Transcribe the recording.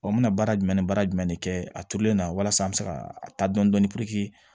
n bɛna baara jumɛn ni baara jumɛn de kɛ a turulen na walasa an bɛ se ka a ta dɔn dɔni